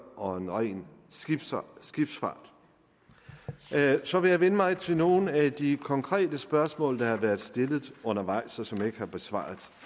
og en ren skibsfart så vil jeg vende mig til nogle af de konkrete spørgsmål der har været stillet undervejs og som jeg ikke har besvaret